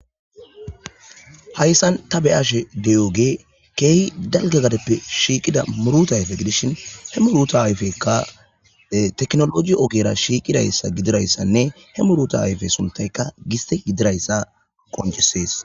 hayssan ta beyashe de7ooge keehi dalgagadeppe shiiqida muruta ayfe gidishin he muruta ayfekka teknologi okera shiiqidayssa gidirayssanne he muruta ayfe suntayka giste gidirayssa qonjesees